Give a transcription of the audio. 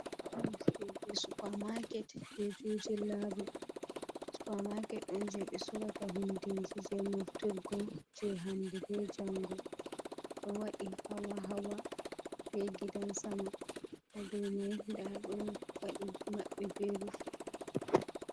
supa maket jei juji labu, supa maket on jei ɓe sorata hundeji jei nafturgo jei hande be jango ɗo waɗi hawa-hawa be gidan sama ha dow mai daado waɗi maɓɓi be rufi.